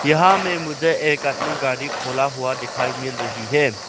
यहां में मुझे एक आदमी गाड़ी खोला हुआ दिखाई मिल रही है।